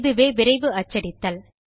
இதுவே விரைவு அச்சடித்தல்